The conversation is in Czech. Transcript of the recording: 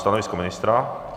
Stanovisko ministra?